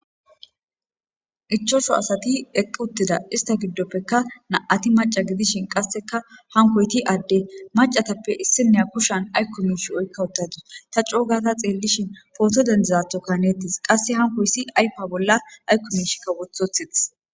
Ichosho asati equuttida ista giddoppekka na'ati maca gidishin qasseka hankoyti adde macatappe issinnea koshan aykko miish oykka wottadus ta coogata xeellishin pooto dendizatho kanettis qasse hankoyssi aypa bolla aykko mishikka wothothetiths.